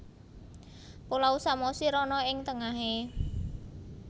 Pulau Samosir ana ing tengahe